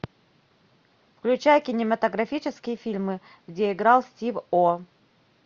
включай кинематографические фильмы где играл стив о